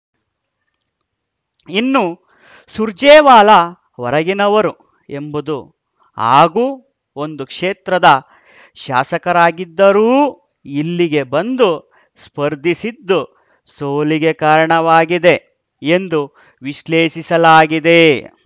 ಇನ್ನು ಸುರ್ಜೇವಾಲಾ ಹೊರಗಿನವರು ಎಂಬುದು ಹಾಗೂ ಒಂದು ಕ್ಷೇತ್ರದ ಶಾಸಕರಾಗಿದ್ದರೂ ಇಲ್ಲಿಗೆ ಬಂದು ಸ್ಪರ್ಧಿಸಿದ್ದು ಸೋಲಿಗೆ ಕಾರಣವಾಗಿದೆ ಎಂದು ವಿಶ್ಲೇಷಿಸಲಾಗಿದೆ